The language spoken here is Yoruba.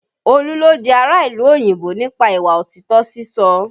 Olú ló di ará ìlú òyìnbó nípa ìwà òtítọ́ sísọ